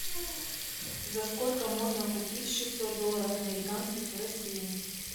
за сколько можно купить шестьсот долларов американских в россии